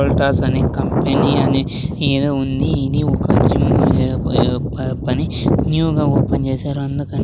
వోల్టాస్ అని కంపెనీ అని ఏదో ఉంది ఇది ఒక జిమ్ ఏ ఏదో ప పని న్యూ గా ఓపెన్ చేశారు అందుకని --